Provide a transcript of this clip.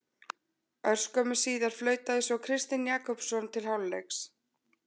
Örskömmu síðar flautaði svo Kristinn Jakobsson til hálfleiks.